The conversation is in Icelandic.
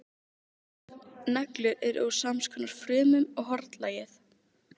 Neglur eru úr samskonar frumum og hornlagið.